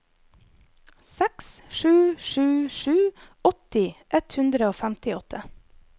seks sju sju sju åtti ett hundre og femtiåtte